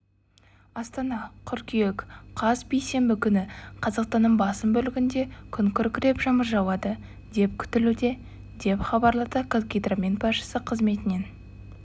астана қыркүйек қаз бейсенбі күні қазақстанның басым бөлігінде күн күркіреп жаңбыр жауады деп күтілуде деп хабарлады қазгидромет баспасөз қызметінен